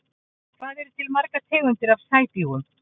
Hvað eru til margar tegundir af sæbjúgum?